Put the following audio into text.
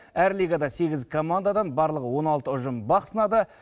әр лигада сегіз командадан барлығы он алты ұжым бақ сынады